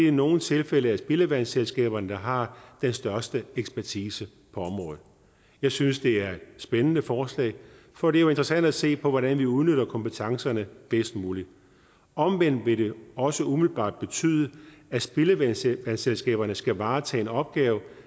i nogle tilfælde er spildevandsselskaberne der har den største ekspertise på området jeg synes det er et spændende forslag for det er jo interessant at se på hvordan vi udnytter kompetencerne bedst muligt omvendt vil det også umiddelbart betyde at spildevandsselskaberne skal varetage en opgave